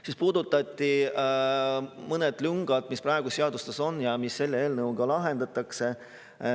Siis puudutati mõnesid lünki, mis praegu seadustes on ja mis selle eelnõuga lahendatakse.